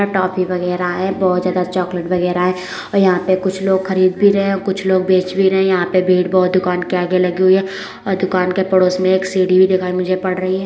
अ toffee वगेरा हैं बहोत ज्यादा चोकलेट वगेरा हैं और यहाँ पे कुछ लोग खरीद भी रहे हैं और कुछ लोग बेच भी रहे हैं। यहाँ पे भीड़ बहोत दुकान के आगे लगी हुई है और दुकान के पड़ोस में एक सीढ़ी भी दिखाई मुझे पड़ रही है।